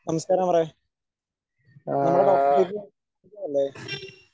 നമസ്കാരം അമറേ, നമ്മുടെ ഡോക്ടർ അല്ലേ?